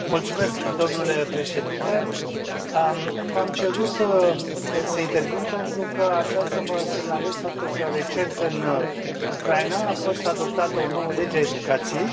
Mulțumesc, domnule președinte, v am cerut să intervin pentru că aș vrea să vă semnalez faptul că recent în Ucraina a fost adoptată o nouă lege a educației.